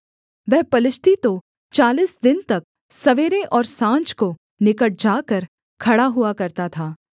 वह पलिश्ती तो चालीस दिन तक सवेरे और साँझ को निकट जाकर खड़ा हुआ करता था